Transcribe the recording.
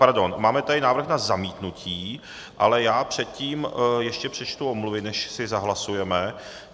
Pardon, máme tady návrh na zamítnutí, ale já předtím ještě přečtu omluvy, než si zahlasujeme.